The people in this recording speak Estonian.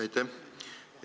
Aitäh!